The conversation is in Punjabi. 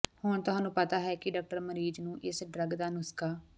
ਹੁਣ ਤੁਹਾਨੂੰ ਪਤਾ ਹੈ ਕਿ ਡਾਕਟਰ ਮਰੀਜ਼ ਨੂੰ ਇਸ ਡਰੱਗ ਦਾ ਨੁਸਖ਼ਾ